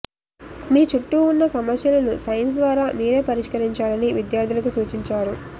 మీ చుట్టూ ఉన్న సమస్యలను సైన్స్ ద్వారా మీరే పరిష్కరించాలని విద్యార్థులకు సూచించారు